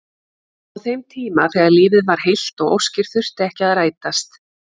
Á þeim tíma þegar lífið var heilt og óskir þurftu ekki að rætast.